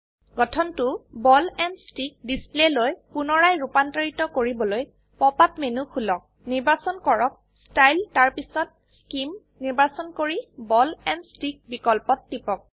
গঠনটো ball and stick ডিসপ্লেলৈ পূনৰায় ৰুপান্তৰিত কৰিবলৈ পপ আপ মেনু খোলক নিৰ্বাচন কৰক ষ্টাইল তাৰপিছত স্কিম নিৰ্বাচন কৰি বল এণ্ড ষ্টিক বিকল্পত টিপক